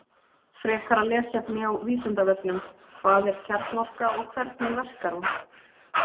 Frekara lesefni á Vísindavefnum: Hvað er kjarnorka og hvernig verkar hún?